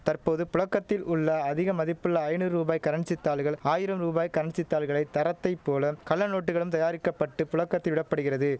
தற்போது புழக்கத்தில் உள்ள அதிக மதிப்புள்ள ஐநூறு ரூபாய் கரன்சி தாள்கள் ஆயிரம் ரூபாய் கரன்சி தாள்களை தரத்தைப் போல கள்ளநோட்டுகளும் தயாரிக்க பட்டு புழக்கத்தில் விட படுகிறது